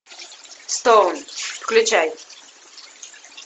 стоун включай